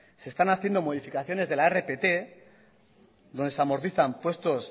se están haciendo modificaciones de la rpt donde se amortizan puestos